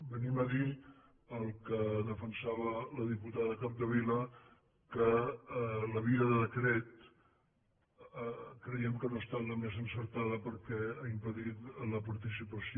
venim a dir el que defensava la diputada capdevila que la via del decret creiem que no ha estat la més encertada perquè ha impedit la participació